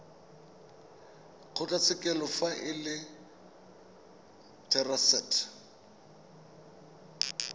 kgotlatshekelo fa e le therasete